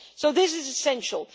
So this is essential.